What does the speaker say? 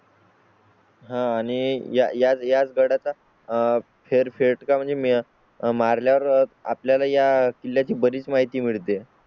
हां आणि याच्यात गड आता आह फेर फेट का? म्हणजे मी मारल्या वर आपल्या ला या किल्ल्या ची बरीच माहिती मिळते.